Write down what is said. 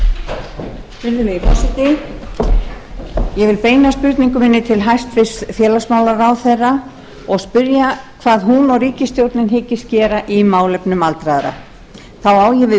virðulegi forseti ég vil beina spurningu minni til hæstvirts félagsmálaráðherra og spyrja hvað hún og ríkisstjórnin hyggist gera í málefnum aldraðra þá á ég við